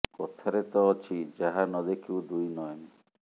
କଥାରେ ତ ଅଛି ଯାହା ନ ଦେଖିବୁ ଦୁଇ ନୟନେ